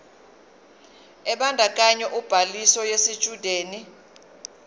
ebandakanya ubhaliso yesitshudeni